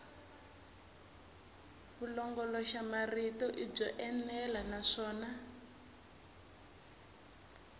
vulongoloxamarito i byo enela naswona